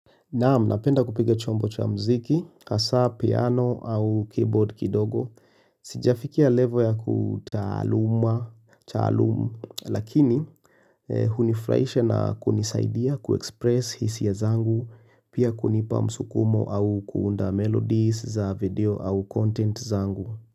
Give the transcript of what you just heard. Naam, napenda kupiga chombo cha mziki, hasa, piano au keyboard kidogo. Sijafikia level ya kutaluma, lakini hunifuraisha na kunisaidia kuekspress hisia zangu, pia kunipa msukumo au kuunda melodies za video au content zangu.